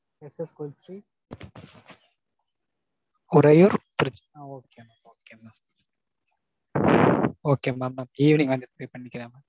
SS கோவில் street. Uraiyur Trichy. Okay mam. Okay mam. okay mam. நான் evening வந்து pay பண்ணிக்கிறேன்.